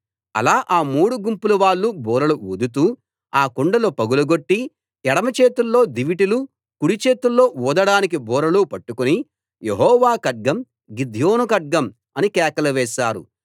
అలా ఆ మూడు గుంపులవాళ్ళు బూరలు ఊదుతూ ఆ కుండలు పగులగొట్టి ఎడమ చేతుల్లో దివిటీలు కుడి చేతుల్లో ఊదడానికి బూరలు పట్టుకుని యెహోవా ఖడ్గం గిద్యోను ఖడ్గం అని కేకలు వేశారు